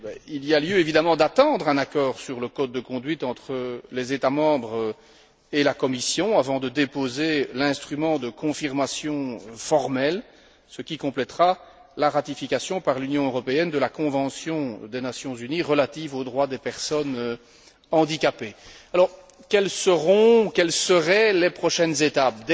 Il y a lieu d'attendre un accord sur le code de conduite entre les États membres et la Commission avant de déposer l'instrument de confirmation formel, ce qui complètera la ratification par l'Union européenne de la convention des Nations unies relative aux droits des personnes handicapées. Quelles seraient les prochaines étapes?